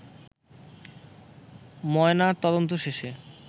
ময়না তদন্ত শেষে